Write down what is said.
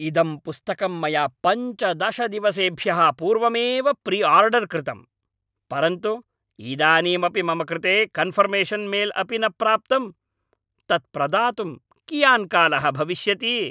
इदं पुस्तकं मया पञ्चदशदिवसेभ्यः पूर्वमेव प्रिआर्डर् कृतम्, परन्तु इदानीमपि मम कृते कन्फर्मेशन् मेल् अपि न प्राप्तम्, तत्प्रदातुं कियान् कालः भविष्यति?